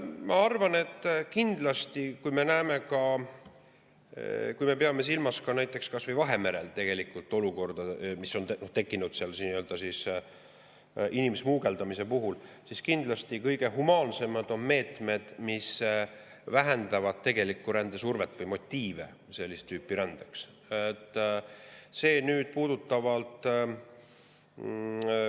Ma arvan, et kui me peame silmas näiteks Vahemerel tegelikku olukorda, mis on tekkinud inimsmugeldamise tõttu, siis kindlasti kõige humaansemad on meetmed, mis vähendavad rändesurvet või sellist tüüpi rände motiive.